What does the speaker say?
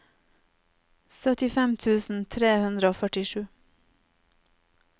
syttifem tusen tre hundre og førtisju